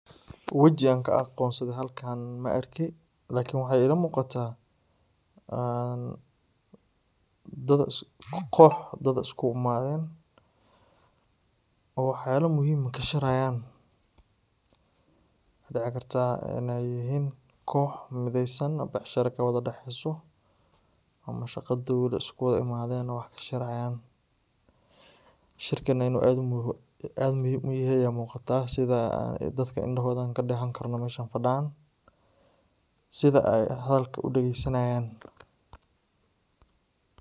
Waji aan ka aqoonsado halkan ma arki lakin waxay iila muuqata een dad kox dad isku imaaden oo waxyala muhiim ka shiraayan waxaa dici karta inay yihiin kox mideysan oo becsharo kawada daxeyso ama shaqa dowla iskuwada imaaden wax ka shirahayaan. Shirkan inu aad muhiim u yahay aya muuqata sida dadka indhahooda an kadehan karno meshan fadhan sida sida ay hadalka u dageysanayan.